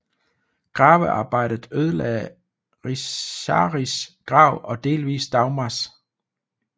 Gravearbejdet ødelagde Richizas grav og delvis Dagmars